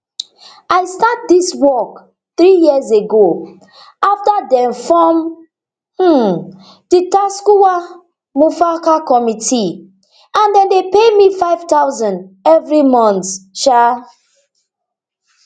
i start dis work three years ago afta dem form um di tsakuwa mu farka committee and dem dey pay me nfive thousand evri month um